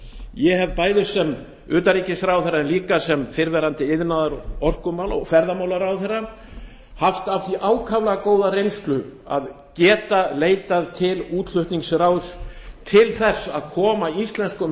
ég hef sem utanríkisráðherra en líka sem fyrrverandi iðnaðar orkumála og ferðamálaráðherra haft af því ákaflega góða reynslu að geta leitað til útflutningsráðs til þess að koma íslenskum